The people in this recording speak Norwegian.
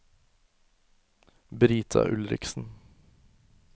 Brita Ulriksen